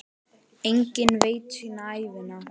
Enginn veit sína ævina.